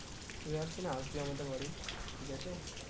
তুই একদিন আসবি আমাদের বাড়ি ঠিক আছে